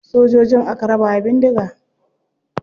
Sojojin aka raba wa bindiga.